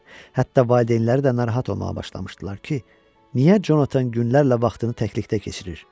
Hətta valideynləri də narahat olmağa başlamışdılar ki, niyə Conatan günlərlə vaxtını təklikdə keçirir?